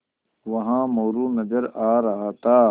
वहाँ मोरू नज़र आ रहा था